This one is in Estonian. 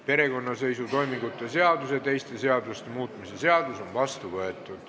Perekonnaseisutoimingute seaduse ja teiste seaduste muutmise seadus on vastu võetud.